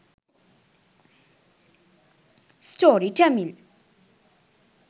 story tamil